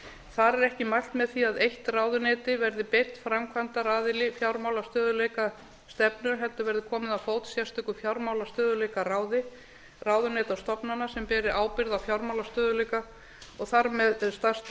þar er ekki mælt með því að eitt ráðuneyti verði beinn framkvæmdaraðili fjármálastöðugleikastefnu heldur verður komið á fót sérstöku fjármálastöðugleikaráði ráðuneyta og stofnana sem beri ábyrgð á fjármálastöðugleika og þar með stærsta